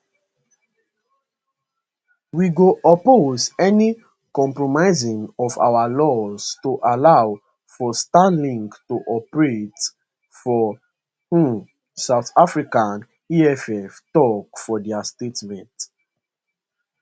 we go oppose any compromising of our laws to allow for starlink to operate for um south africa eff tok for dia statement